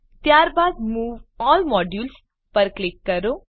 ત્યારબાદ move all modules પર click કરો